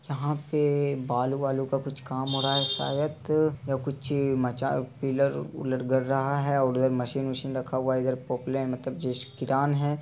यहाँ पे बाल वाल का कुछ काम हो रहा है। शायद या कुछ मचा अ पिलर विलर गड़ रहा है और उधर मशीन वशिन रखा हुआ है इधर पॉपु मतलब जैसे किरान है।